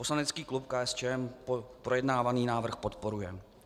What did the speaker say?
Poslanecký klub KSČM projednávaný návrh podporuje.